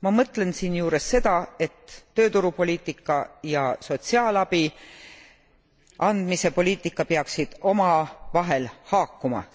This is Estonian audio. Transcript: Ma mõtlen siinjuures seda, et tööturupoliitika ja sotsiaalabi andmise poliitika peaksid omavahel haakuma.